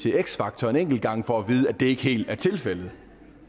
x factor en enkelt gang for at vide at det ikke helt er tilfældet